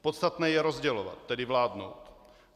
Podstatné je rozdělovat, tedy vládnout.